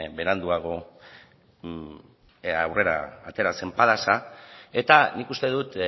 beranduago aurrera atera zen padas eta nik uste dut